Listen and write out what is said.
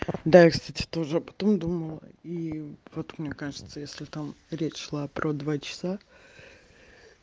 да я кстати тоже об этом думала и вот мне кажется если там речь шла про два часа